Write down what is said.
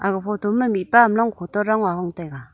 ag photo ma mi pa am long kho to dong nga gong taiga.